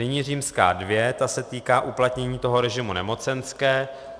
Nyní římská dvě, ta se týká uplatnění toho režimu nemocenské.